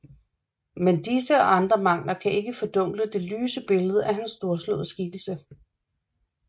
Men disse og andre mangler kan ikke fordunkle det lyse billede af hans storslåede skikkelse